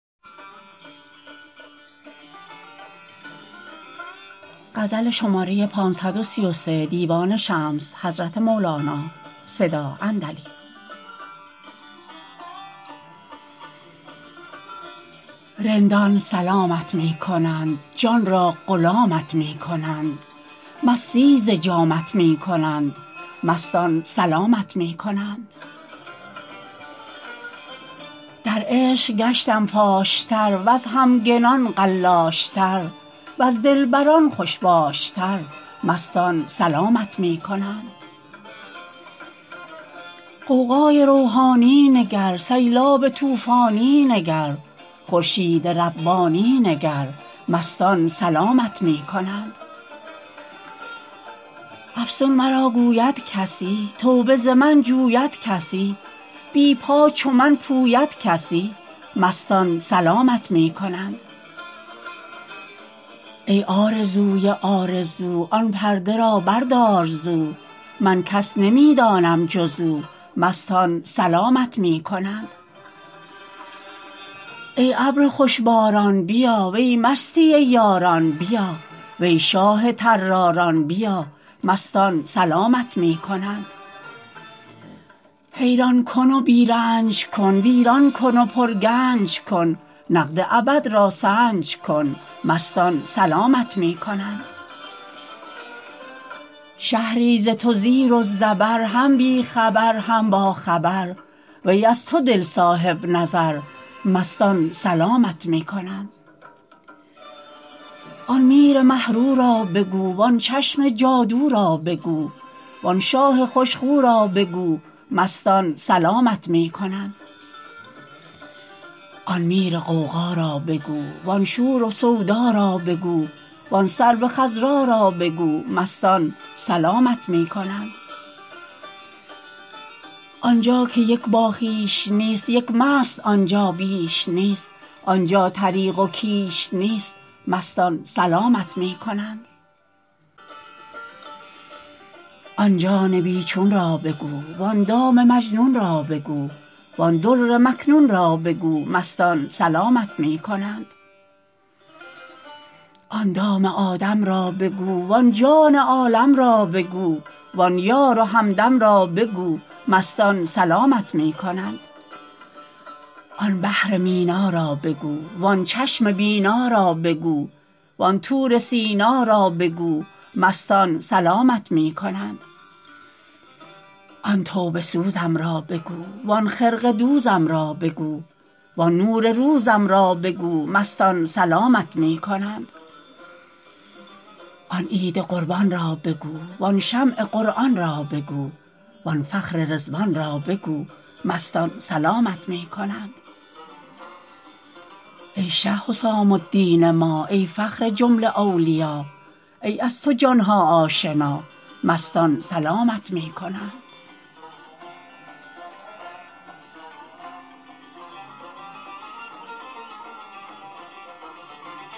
رندان سلامت می کنند جان را غلامت می کنند مستی ز جامت می کنند مستان سلامت می کنند در عشق گشتم فاش تر وز همگنان قلاش تر وز دلبران خوش باش تر مستان سلامت می کنند غوغای روحانی نگر سیلاب طوفانی نگر خورشید ربانی نگر مستان سلامت می کنند افسون مرا گوید کسی توبه ز من جوید کسی بی پا چو من پوید کسی مستان سلامت می کنند ای آرزوی آرزو آن پرده را بردار زو من کس نمی دانم جز او مستان سلامت می کنند ای ابر خوش باران بیا وی مستی یاران بیا وی شاه طراران بیا مستان سلامت می کنند حیران کن و بی رنج کن ویران کن و پرگنج کن نقد ابد را سنج کن مستان سلامت می کنند شهری ز تو زیر و زبر هم بی خبر هم باخبر وی از تو دل صاحب نظر مستان سلامت می کنند آن میر مه رو را بگو وان چشم جادو را بگو وان شاه خوش خو را بگو مستان سلامت می کنند آن میر غوغا را بگو وان شور و سودا را بگو وان سرو خضرا را بگو مستان سلامت می کنند آن جا که یک باخویش نیست یک مست آن جا بیش نیست آن جا طریق و کیش نیست مستان سلامت می کنند آن جان بی چون را بگو وان دام مجنون را بگو وان در مکنون را بگو مستان سلامت می کنند آن دام آدم را بگو وان جان عالم را بگو وان یار و همدم را بگو مستان سلامت می کنند آن بحر مینا را بگو وان چشم بینا را بگو وان طور سینا را بگو مستان سلامت می کنند آن توبه سوزم را بگو وان خرقه دوزم را بگو وان نور روزم را بگو مستان سلامت می کنند آن عید قربان را بگو وان شمع قرآن را بگو وان فخر رضوان را بگو مستان سلامت می کنند ای شه حسام الدین ما ای فخر جمله اولیا ای از تو جان ها آشنا مستان سلامت می کنند